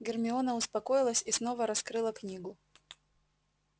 гермиона успокоилась и снова раскрыла книгу